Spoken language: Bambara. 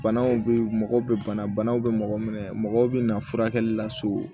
Banaw bɛ mɔgɔ bɛ bana banaw bɛ mɔgɔ minɛ mɔgɔw bɛ na furakɛli la so